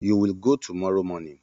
You will go tomorrow morning